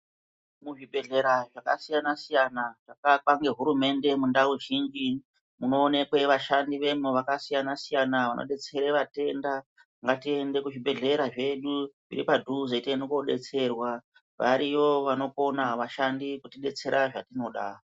Mu zvibhedhlera zvaka siyana siyana zvaka akwa ne hurumende mu ndau zhinji muno onekwe vashandi vemwo vaka siyana siyana vano detsere vatenda ngati ende ku zvibhedhlera zvedu zviri padhuze tiende ko detserwa variyo vano kona vashandi kuti detsera zva tinoda.